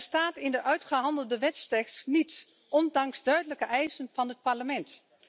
Er staat in de uitgehandelde wetstekst niets, ondanks duidelijke eisen van het Parlement.